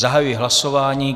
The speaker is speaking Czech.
Zahajuji hlasování.